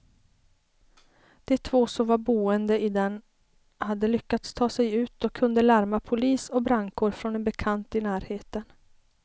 De två som var boende i den hade lyckats ta sig ut och kunde larma polis och brandkår från en bekant i närheten.